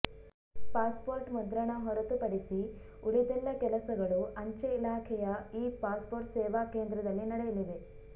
passport ಮುದ್ರಣ ಹೊರತು ಪಡಿಸಿ ಉಳಿದೆಲ್ಲ ಕೆಲಸಗಳು ಅಂಚೆ ಇಲಾಖೆಯ ಈ ಪಾಸ್ಪೋರ್ಟ್ ಸೇವಾ ಕೇಂದ್ರದಲ್ಲಿ ನಡೆಯಲಿವೆ